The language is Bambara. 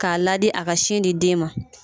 K'a ladi a ka sin di den ma